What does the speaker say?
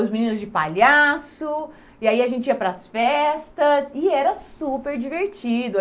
os meninos de palhaço, e aí a gente ia para as festas, e era super divertido.